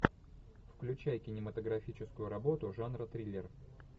включай кинематографическую работу жанра триллер